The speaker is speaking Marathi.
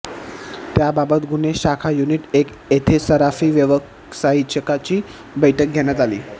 त्याबाबत गुन्हे शाखा युनिट एक येथे सराफी व्यावसायिकांची बैठक घेण्यात आली